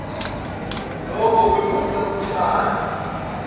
lokho kwephula kuhlale